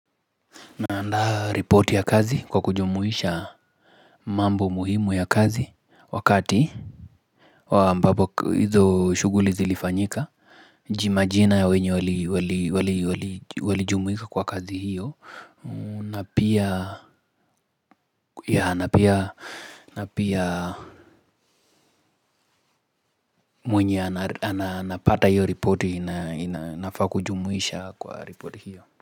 Naandaa ripoti ya kazi kwa kujumuisha mambo muhimu ya kazi wakati wa ambapo hizo shuguli zilifanyika Jumajina ya wenye wali jumuisha kwa kazi hiyo na pia mwenye anapata hiyo ripoti nafaa kujumuisha kwa ripoti hiyo.